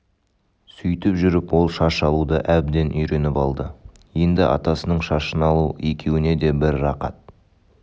сөйтіп жүріп ол шаш алуды әбден үйреніп алды енді атасының шашын алу екеуіне де бір рақат